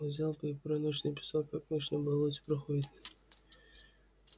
вот взял бы и про ночь написал как ночь на болоте проходит